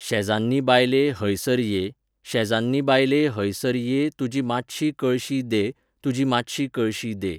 शेजान्नी बायले हय सर ये, शेजान्नी बायले हय सर ये तुजी मात्शी कळशी दे, तुजी मात्शी कळशी दे